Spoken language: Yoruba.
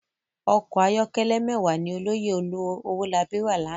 Òkò àyòkèlè mèwá ni òlòyé Owolabi rá làná